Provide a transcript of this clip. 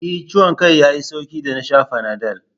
E, ciwon kan ya yi sauƙi da na sha Fanadol.